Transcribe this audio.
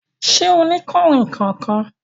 Ṣẹ́ ọ ni kanrínnkan kan?